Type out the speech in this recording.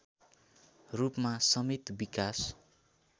रूपमा समेत विकास